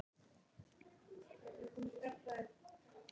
Hryggirnir sýna lágmarks- en staparnir hámarksþykkt jökulskjaldanna.